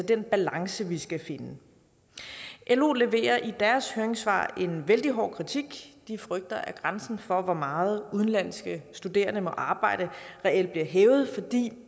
den balance vi skal finde lo leverer i deres høringssvar en vældig hård kritik de frygter at grænsen for hvor meget udenlandske studerende må arbejde reelt bliver hævet fordi